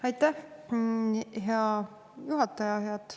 Aitäh, hea juhataja!